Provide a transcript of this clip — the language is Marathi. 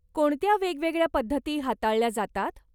कोणत्या वेगवेगळ्या पद्धती हाताळल्या जातात?